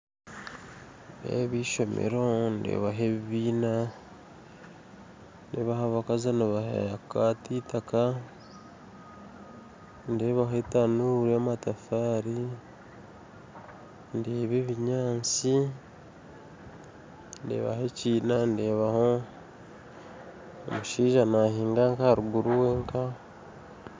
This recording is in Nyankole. Enjubu ezi n'enjubu itano ziri omu maizi ziine ebyana byayo ziriyo nizooga amaizi mu nyanja enjubu ziine emitwe mihango